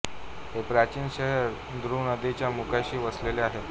हे प्राचीन शहर दूरो नदीच्या मुखाशी वसलेले आहे